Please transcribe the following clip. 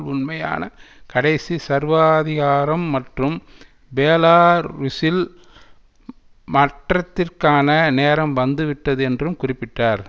உண்மையான கடைசி சர்வாதிகாரம் மற்றும் பேலா ருஸில் மற்றத்திற்கான நேரம் வந்துவிட்டது என்றும் குறிப்பிட்டார்